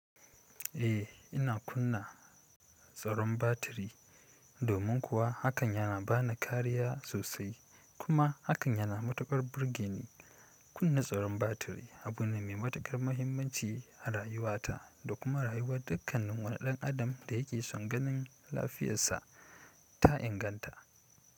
Eh ina kunna tsaron batiri domin kuwa hakan na bani kariya sosai kuma hakan na matuwar burgeni. Kunna tsaron batiri abu ne mai matuƙar muhimmanci a rayuwata da kuma rayuwar dukkan wani ɗan adam da yake son ganin lafiyarsa ta inganta.